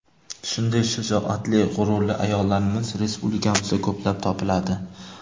Shunday shijoatli, g‘ururli ayollarimiz respublikamizda ko‘plab topiladi.